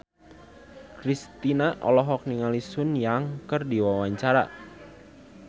Kristina olohok ningali Sun Yang keur diwawancara